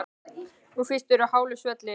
Nú fyrst ertu á hálu svelli.